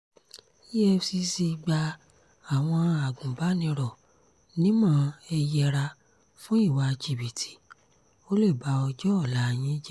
efcc gba àwọn agùnbánirò nímọ̀ ẹ yẹra fún ìwà jìbìtì ó lè ba ọjọ́ ọ̀la yín jẹ́